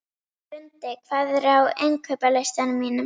Lundi, hvað er á innkaupalistanum mínum?